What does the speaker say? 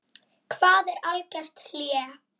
Hvað er algert hlé?